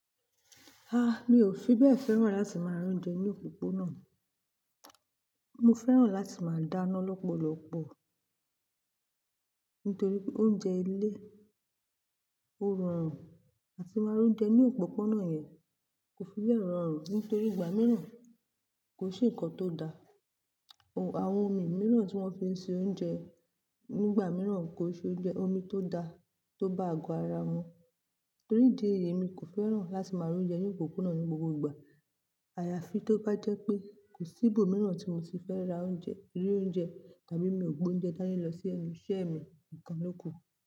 Ah! Mi ò fi bẹ́ẹ̀ fẹ́ràn láti máa rún jẹ ní òpópónà. Mo fẹ́ràn láti máa dáná lọ́pọ̀lọpọ̀ nítorí pé oúnjẹ ilé ó rọrùn àti máa rún jẹ ní òpópónà yẹn kò fi bẹ́ẹ̀ rọrùn nítorí ìgbà mìíràn kò n se ǹkan tó da. Àwọn omi mìíràn tí wọ́n fi ń ṣe oúnjẹ nígbà mìíràn kò ṣe oúnjẹ omi tó da tó bá àgo ara mú. Torí ìdí èyí mi kò fẹ́ràn láti máa ra óúnjẹ ní òpópónà ní gbogbo ìgbà. Àyàfi tó bá jẹ́ pé kò sí ibòmíràn tí mo ti fẹ́ ra oúnjẹ, ri oúnjẹ tàbí mi ò gbé oúnjẹ dání lọ sí enu iṣẹ́ mi, nìkan ló kù.